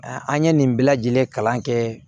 An ye nin bɛɛ lajɛlen kalan kɛ